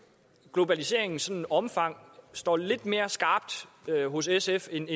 globaliseringens omfang står lidt mere skarpt hos sf end